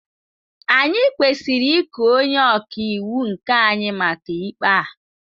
Anyị kwesịrị iku onye ọka iwu nke anyị maka ikpe a.